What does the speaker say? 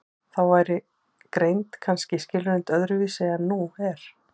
Þá væri greind kannski skilgreind öðru vísi en nú er.